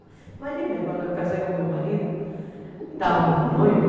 Imagina, quando eu casei com meu marido, estávamos noivos...